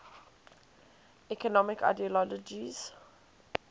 economic ideologies